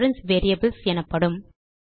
reference variables எனப்படும்